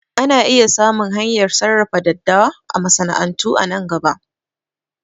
Ana iya samun hanyar sarrafa daddawa a masana'antu a nan gaba